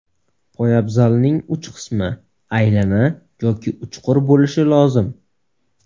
Poyabzalning uch qismi aylana yoki uchqur bo‘lishi lozim.